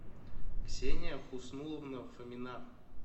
ксения хуснуловна фомина